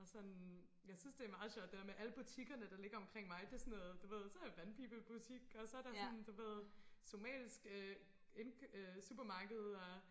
Og sådan jeg synes det er meget sjovt det der med alle butikkerne der ligger omkring mig det sådan noget du ved så der vandpibebutik og så der sådan du ved somalisk øh supermarked og